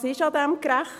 Was ist daran gerecht?